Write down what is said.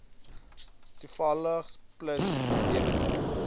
toevallings plus lewende